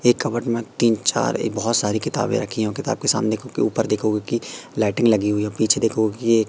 एक कपबोर्ड में तीन चार एक बहुत सारी किताबें रखी हुई किताब के सामने उनके ऊपर देखोगे कि लाइटिंग लगी हुई है पीछे देखोगे कि--